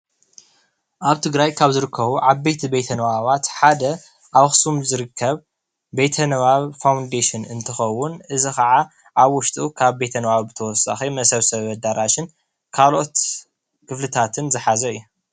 እዚ ምስሊ ጥንታዊ ናይ ህዝቢ ቤተ ንባብ እዩ።